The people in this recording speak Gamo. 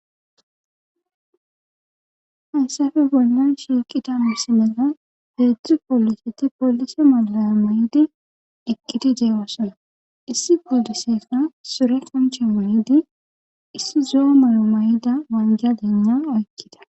Haysafe bolnan shiiqida musi mela heedzdzu poliseti polise malaya may7idi dhiqkidi deewossona issi gollisefna sure konche mayidi issi zo7a mayo may7ida manja dena oykkida